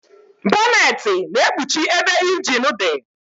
Bọnetị na-ekpuchi ebe ịnjin dị